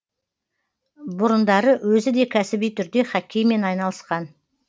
бұрындары өзі де кәсіби түрде хоккеймен айналысқан